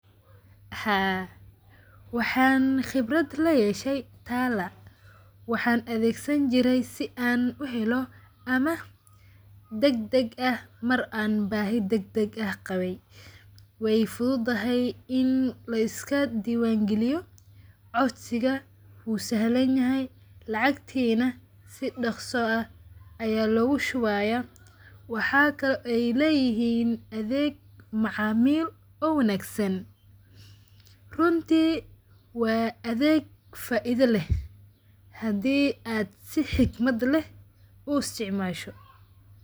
Haa, waxan qibrad la yeshay tala waxan adeegsan jiray si an uheelo amah degdeg ah Mar an baahi degdeg ah qabay ,way fudud dahay in layska dibaan geeliyo codsiga wuu sahlan yahay lacagti na si dhaqso ah aya logu shubaya waxakale oy letihiin adeeg macaamil oo wanaagsan, runti waa adeeg faa'iida leh hadii ad si xigmad leh u usticmaasho